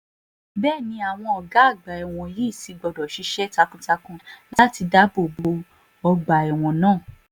bẹ́ẹ̀ ni àwọn ọ̀gá ọgbà ẹ̀wọ̀n yìí sì gbọ́dọ̀ ṣiṣẹ́ takuntakun láti dáàbò bo ọgbà ẹ̀wọ̀n náà